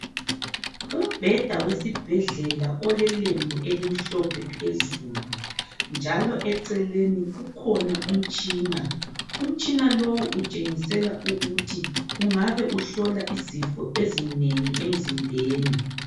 Umbheda wesibhedlela olelembu elimhlophe phezulu, njalo eceleni kukhona umtshina. Umtshina lowu utshengisela ukuthi ungabe uhlola izifo ezinengi emzimbeni.